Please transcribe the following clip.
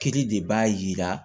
Kiri de b'a yira